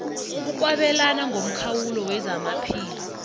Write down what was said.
ukwabelana ngomkhawulo wezamaphilo